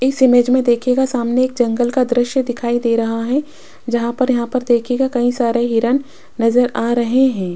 इस इमेज में देखिएगा सामने एक जंगल का दृश्य दिखाई दे रहा है जहां पर यहां पर देखिएगा कई सारे हिरण नजर आ रहे हैं।